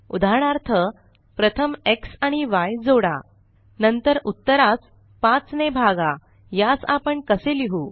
उदाहरणार्थ प्रथम एक्स आणि य जोडा नंतर उत्तरास 5 ने भागा यास आपण कसे लिहु